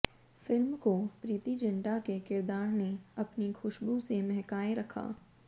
film को प्रीती ज़िंटा के किरदार ने अपनी खुश्बू से महकाए रखा